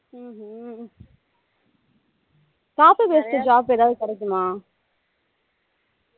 ஹம் hmm copy paste job ஏதாவது கிடைக்குமா